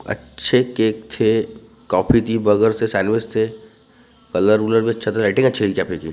अच्छे केक छे कॉफी की बर्गर सैंडविच छे कलर रूलर अच्छा तो लाईटिंग अच्छा है कैफै की।